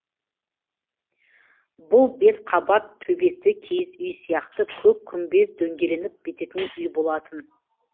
бұл бес қабат төбесі киіз үй сияқты көк күмбез дөңгеленіп бітетін үй болатын